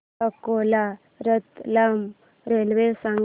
Akola Ratlam railway सांगा